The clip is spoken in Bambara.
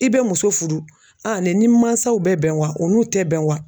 I bɛ muso fudu nin ni n mansaw bɛ bɛn wa u n'u tɛ bɛn wa